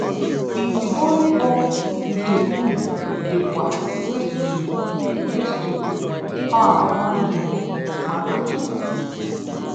Itibọlịbọ nke unu dị kwa raised to raised to power 100, maka chukwu!